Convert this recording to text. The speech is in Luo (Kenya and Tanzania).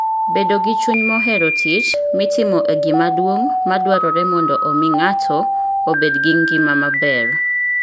Bedo gi chuny mohero tich mitimo e gima duong' madwarore mondo omi ng'ato obed gi ngima maber.